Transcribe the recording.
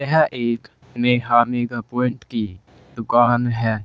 यह एक Neha mega point की दुकान है।